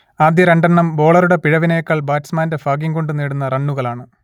ആദ്യ രണ്ടെണ്ണം ബോളറൂടെ പിഴവിനേക്കാൾ ബാറ്റ്സ്മാന്റെ ഭാഗ്യംകൊണ്ടു നേടുന്ന റണ്ണുകളാണ്